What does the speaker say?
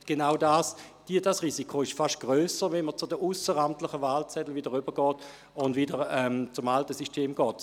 Genau dieses Risiko ist fast grösser, wenn man wieder zu den ausseramtlichen Wahlzetteln und zum alten System übergeht.